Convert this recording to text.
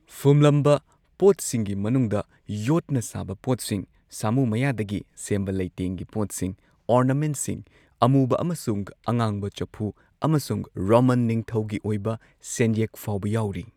ꯐꯨꯝꯂꯝꯕ ꯄꯣꯠꯁꯤꯡꯒꯤ ꯃꯅꯨꯡꯗ ꯌꯣꯠꯅ ꯁꯥꯕ ꯄꯣꯠꯁꯤꯡ, ꯁꯥꯃꯨ ꯃꯌꯥꯗꯒꯤ ꯁꯦꯝꯕ ꯂꯩꯇꯦꯡꯒꯤ ꯄꯣꯠꯁꯤꯡ, ꯑꯣꯔꯅꯥꯃꯦꯟꯠꯁꯤꯡ, ꯑꯃꯨꯕ ꯑꯃꯁꯨꯡ ꯑꯉꯥꯡꯕ ꯆꯐꯨ ꯑꯃꯁꯨꯡ ꯔꯣꯃꯥꯟ ꯅꯤꯡꯊꯧꯒꯤ ꯑꯣꯏꯕ ꯁꯦꯟꯌꯦꯛ ꯐꯥꯎꯕ ꯌꯥꯎꯔꯤ꯫